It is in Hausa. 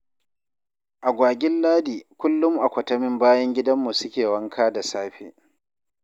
Agwagin Ladi kullum a kwatamin bayan gidanmu suke wanka da safe.